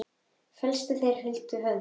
Flestir þeirra fara huldu höfði.